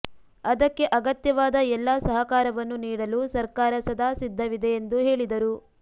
ಅದಕ್ಕೆ ಅಗತ್ಯವಾದ ಎಲ್ಲಾ ಸಹಕಾರವನ್ನು ನೀಡಲು ಸರ್ಕಾರ ಸದಾ ಸಿದ್ಧವಿದೆ ಎಂದು ಹೇಳಿದರು